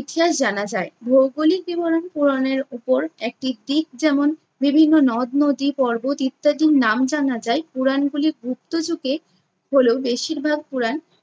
ইতিহাস জানা যায়। ভৌগোলিক বিবরণ পুরাণের ওপর একটি দিক যেমন বিভিন্ন নদ-নদী, পর্বত ইত্যাদির নাম জানা যায় পুরাণগুলি গুপ্ত যুগে হলেও বেশির ভাগ পুরাণ